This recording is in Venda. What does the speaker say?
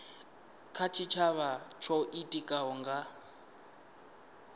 kha tshitshavha tsho itikaho nga